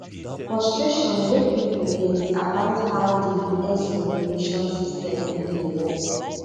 frustration wey pipo get about how di us immigration system no dey work